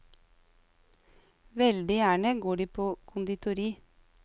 Veldig gjerne går de på konditori.